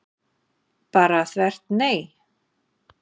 Bara þvert nei?